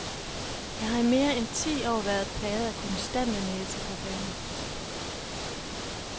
Jeg har i mere end ti år været plaget af konstante næseproblemer.